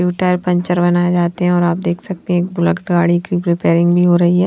जो tyre puncture बनाए जाते है और आप देख सकते हैं बुलेट गाड़ी की रिपेयरिंग भी हो रही है।